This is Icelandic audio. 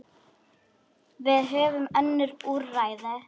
Við höfum önnur úrræði.